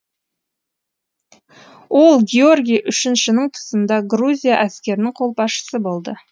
ол георги үшіншінің тұсында грузия әскерінің қолбасшысы болды